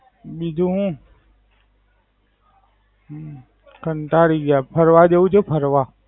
બીજું હું. હમ્મ કંટાળી ગયો યાર ફરવા જવું છે ફરવા?